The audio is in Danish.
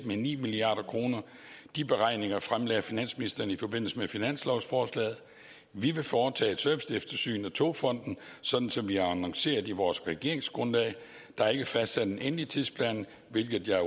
med ni milliard kroner de beregninger fremlagde finansministeren i forbindelse med finanslovsforslaget vi vil foretage et serviceeftersyn af togfonden sådan som vi har annonceret i vores regeringsgrundlag der er ikke fastsat en endelig tidsplan hvilket jeg